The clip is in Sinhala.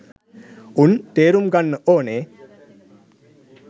උන් තේරුම් ගන්න ඕනේ